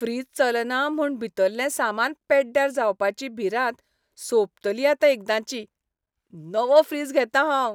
Fridge चलना म्हूण भितरलें सामान पेड्ड्यार जावपाची भिरांत सोंपतली आतां एकदाचीं. नवो फ्रीज घेतां हांव.